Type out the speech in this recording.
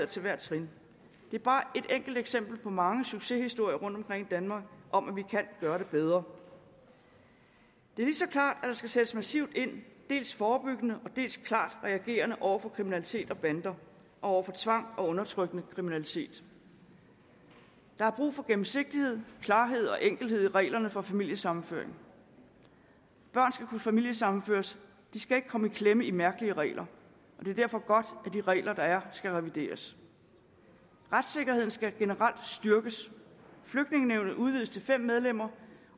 til hvert trin det er bare et enkelt eksempel på mange succeshistorier rundtomkring i danmark om at vi kan gøre det bedre det er lige så klart at der skal sættes massivt ind dels forebyggende dels klart reagerende over for kriminalitet og bander og over for tvang og undertrykkende kriminalitet der er brug for gennemsigtighed klarhed og enkelhed i reglerne for familiesammenføring børn skal kunne familiesammenføres de skal ikke kunne komme i klemme i mærkelige regler og det er derfor godt at de regler der er skal revideres retssikkerheden skal generelt styrkes flygtningenævnet udvides til fem medlemmer